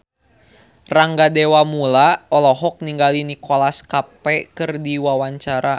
Rangga Dewamoela olohok ningali Nicholas Cafe keur diwawancara